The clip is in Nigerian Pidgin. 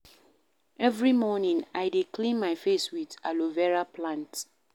Every morning, I dey clean my face with aloe vera plant.